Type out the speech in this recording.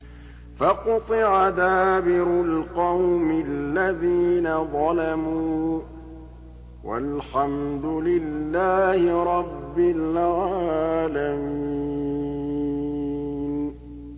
فَقُطِعَ دَابِرُ الْقَوْمِ الَّذِينَ ظَلَمُوا ۚ وَالْحَمْدُ لِلَّهِ رَبِّ الْعَالَمِينَ